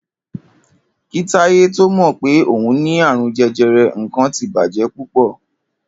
Kí Táyé tó mò̩ pé òun ní àrùn je̩je̩re̩, nǹkan ti bàjé̩ púpò̩